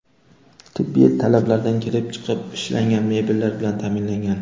Tibbiy talablardan kelib chiqib ishlangan mebellar bilan ta’minlangan.